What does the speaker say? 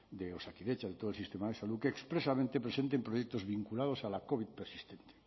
de osakidetza de todo el sistema de salud que expresamente presenten proyectos vinculados a la covid persistente